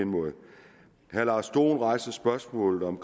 herre lars dohn rejser spørgsmålet om